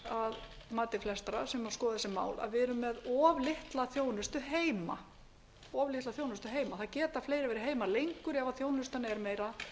að mati flestra sem hafa skoðað þessi mál að við erum með of litla þjónustu heima það geta fleiri verið heima lengur ef þjónustan er meira